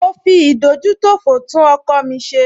Mo fi ìdójútòfò tún ọkọ̀ mi ṣe